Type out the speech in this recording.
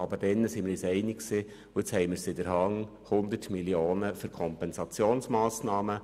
Aber vorher waren wir uns einig, und nun haben wir es in der Hand, 100 Mio. Franken zusätzlich einzunehmen.